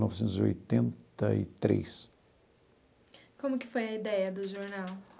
Novecentos e oitenta e três. Como que foi a ideia do jornal?